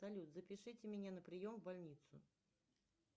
салют запишите меня на прием в больницу